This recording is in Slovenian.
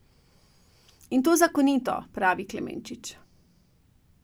In to zakonito, pravi Klemenčič.